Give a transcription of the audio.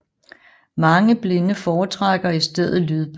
Mange blinde foretrækker i stedet lydbøger